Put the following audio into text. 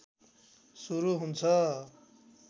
सुरु हुन्छ